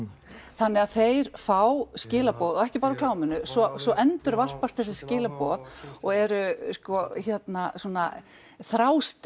þannig að þeir fá skilaboð og ekki bara úr kláminu svo svo endurvarpast þessi skilaboð og eru sko svona þrástef